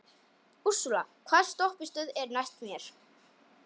Úrsúla, hvaða stoppistöð er næst mér?